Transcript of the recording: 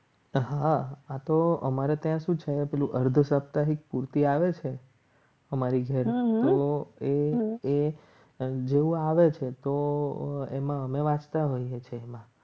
હા આ તો અમારે ત્યાં શું છે પેલું અર્ધ સપ્તાહિક પૂર્તિ આવે છે. અમારી ઘરે આવે છે. તો એમાં અમે વાંચતા હોઈએ છીએ.